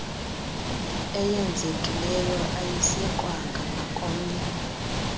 eyenzekileyo ayisekwanga nakomnye